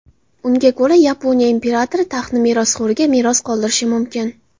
Unga ko‘ra Yaponiya imperatori taxtni merosxo‘riga meros qoldirishi mumkin.